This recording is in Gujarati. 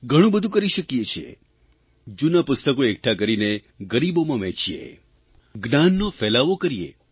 ઘણું બધું કરી શકીએ છીએ જૂનાં પુસ્તકો એકઠાં કરીને ગરીબોમાં વહેંચીએ જ્ઞાનનો ફેલાવો કરીએ